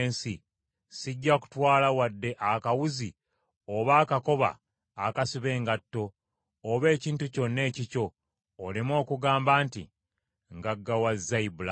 sijja kutwala wadde akawuzi oba akakoba akasiba engatto, oba ekintu kyonna ekikyo, oleme okugamba nti, ‘Ngaggawazza Ibulaamu.’